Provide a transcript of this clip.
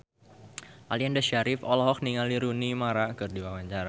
Aliando Syarif olohok ningali Rooney Mara keur diwawancara